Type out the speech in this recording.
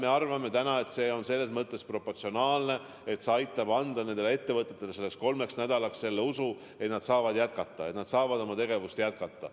Me arvame täna, et see summa on selles mõttes proportsionaalne, et see aitab anda nendele ettevõtetele kolmeks nädalaks usu, et nad saavad oma tegevust jätkata.